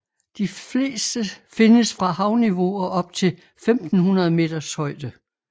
De fleste findes fra havniveau og op til 1500 meters højde